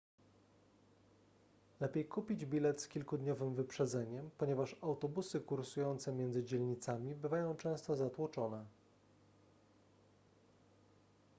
lepiej kupić bilet z kilkudniowym wyprzedzeniem ponieważ autobusy kursujące między dzielnicami bywają często zatłoczone